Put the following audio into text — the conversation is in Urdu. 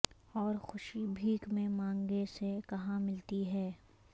اور خوشی بھیک میں مانگے سے کہاں ملتی ہے